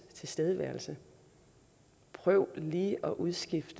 tilstedeværelse prøv lige at udskifte